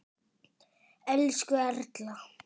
Elsku Erla.